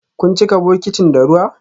Kun cika bokitin da ruwa?